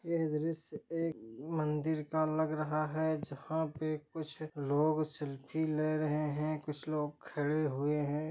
यह दृश्य एक मंदिर का है लग रघ है जहा पेकुछ लोग सेल्फी ले रहे है कुछ लोग खड़े है।